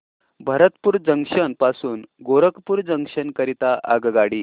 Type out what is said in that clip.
Bharatpur junction पासून Gorakhpur junction करीता आगगाडी